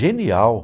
Genial!